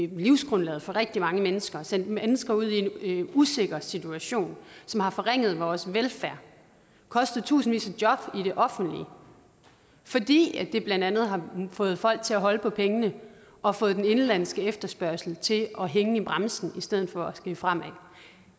livsgrundlaget for rigtig mange mennesker har sendt mennesker ud i en usikker situation som har forringet vores velfærd kostet tusindvis af job i det offentlige fordi det blandt andet har fået folk til at holde på pengene og fået den indenlandske efterspørgsel til at hænge i bremsen i stedet for at skride fremad